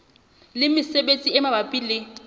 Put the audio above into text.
le mesebetsi e mabapi le